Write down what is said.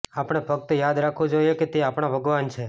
આપણે ફક્ત યાદ રાખવું જોઈએ કે તે આપણા ભગવાન છે